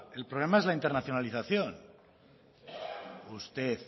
el problema es la internacionalización usted